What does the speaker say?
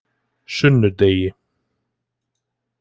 sunnudegi